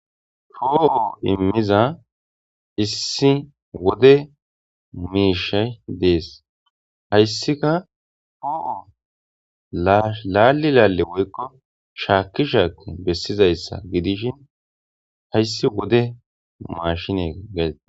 Poo7o immiza issi wode miishay dees hayssika foo7o laali laalle woykko shaakisha bessizayssa gidishin hayssi wode mmaashine gaysa.